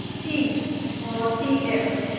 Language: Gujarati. C or C S